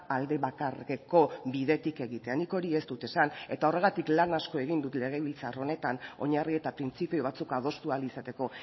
aldebakarreko bidetik egitea nik hori ez dut esan eta horregatik lan asko egin dut legebiltzar honetan oinarri eta printzipio batzuk adostu ahal izateko